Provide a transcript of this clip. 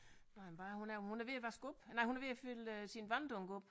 Nåh ja hvad er hun hun er ved at vaske op nej hun er ved at fylde sin vanddunk op